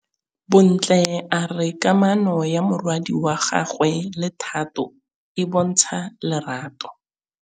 Bontle a re kamanô ya morwadi wa gagwe le Thato e bontsha lerato.